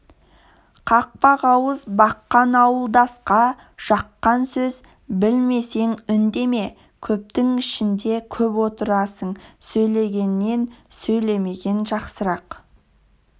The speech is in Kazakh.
қақпақ ауыз баққан ауылдасқа жаққан сөз білмесең үндеме көптің ішінде көп отырасың сөйлегеннен сөйлемеген жақсырақ